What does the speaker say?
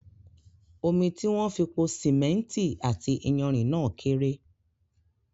Omi tí wón fi pò símẹ́ntì àti iyanrìn náà kéré